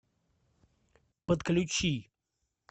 подключи